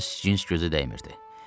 İnc-cins gözə dəymirdi.